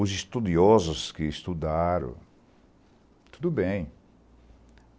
Os estudiosos que estudaram, tudo bem.